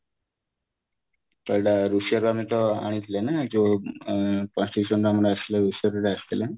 ଆଣିଥିଲେ ନା ଯୋଉ ଅ ଆସିଥିଲେ